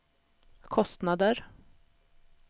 kostnader